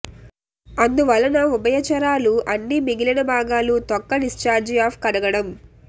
అందువలన ఉభయచరాలు అన్ని మిగిలిన భాగాలు తొక్క డిశ్చార్జి ఆఫ్ కడగడం